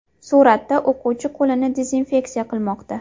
Suratda o‘quvchi qo‘lini dezinfeksiya qilmoqda.